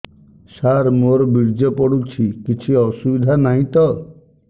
ସାର ମୋର ବୀର୍ଯ୍ୟ ପଡୁଛି କିଛି ଅସୁବିଧା ନାହିଁ ତ